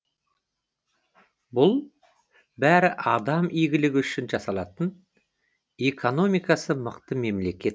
бұл бәрі адам игілігі үшін жасалатын экономикасы мықты мемлекет